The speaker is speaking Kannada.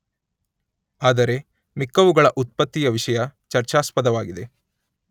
ಆದರೆ ಮಿಕ್ಕವುಗಳ ಉತ್ಪತ್ತಿಯ ವಿಷಯ ಚರ್ಚಾಸ್ಪದವಾಗಿದೆ